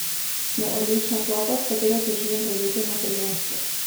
Smo odlična klapa, s katero se želim prebiti na prvenstvo.